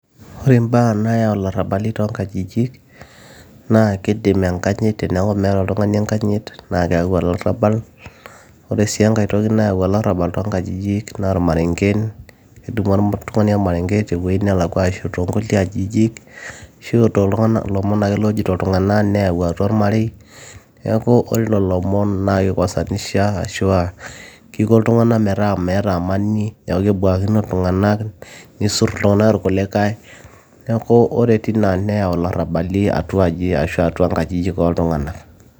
ore imbaa nayau ilarrabali toonkajijik naa kidim enkanyit teniaku meeta oltung'ani enkanyit naa keyau olarrabal ore sii enkae toki nayau olarrabal toonkajijik naa irmarengen kedumu oltung'ani ormarenge tewueji nelakua ashu toonkulie ajijik ashu ilomon ake lojoito iltung'anak neyau atua ormarei niaku ore lolo omon naa kikosanisha ashua kiko iltung'anak metaa meeta amani niaku kebuakino iltung'anak nisurr iltung'anak irkulikae neeku ore tina neyau ilarrabali atua aji ashu atua nkajijik oltung'anak.